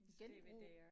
Genbrug